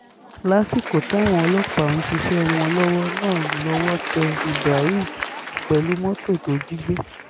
lásìkò táwọn ọlọ́pàá ń ṣiṣẹ́ wọn lọ́wọ́ náà lọ́wọ́ tẹ ibrahim pẹ̀lú mọ́tò tó jí gbé